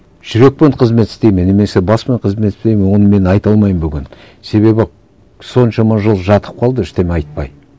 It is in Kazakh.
жүрекпен қызмет істейді ме немесе баспен қызмет істейді ме оны мен айта алмаймын бүгін себебі соншама жыл жатып қалды ештеңе айтпай